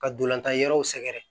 Ka ntolantan yɔrɔw sɛgɛrɛ